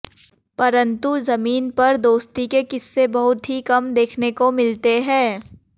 परंतु जमीन पर दोस्ती के किस्से बहुत ही कम देखने को मिलते हैं